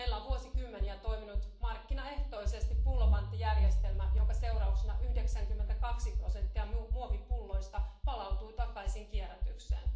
Meillä on vuosikymmeniä toiminut markkinaehtoisesti pullopanttijärjestelmä, jonka seurauksena 92 prosenttia muovipulloista palautuu takaisin kierrätykseen.